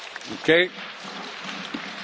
Who would like to speak against?